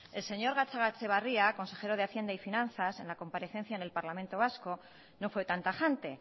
el señor gatzagaetxebarria consejero de hacienda y finazas en la comparecencia en el parlamento vasco no fue tan tajante